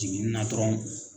Jigini na dɔrɔnw